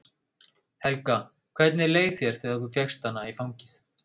Helga: Hvernig leið þér þegar þú fékkst hana í fangið?